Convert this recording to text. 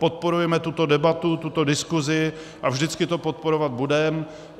Podporujeme tuto debatu, tuto diskuzi a vždycky to podporovat budeme.